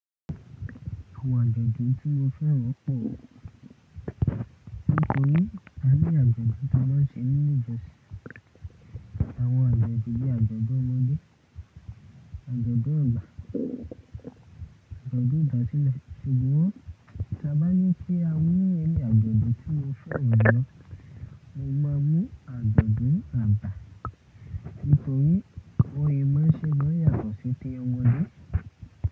Àwọn àjodùn tí mo fẹ́ràn pọ̀ nítorí a ní àjodùn tí maa n ṣe nínú ìjọsìn. Àwọn àjodùn bíi àjodùn ọmọ́dẹ, àjodùn àgbà, àjodùn ìdásílẹ̀. Ṣùgbọ́n tí a bá ní kí a mú any àjodùn tí mo fẹ́ràn jùlọ, mo máa mú àjodùn àgbà nítorí biwonye máa n ṣe máa yàtọ̀ sí i ti omodé.